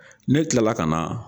Ne tilala ka na